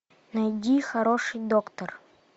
найди хороший доктор